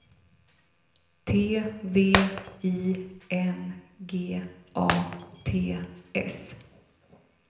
T V I N G A T S